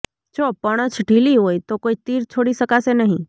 જો પણછ ઢીલી હોય તો કોઈ તીર છોડી શકાશે નહીં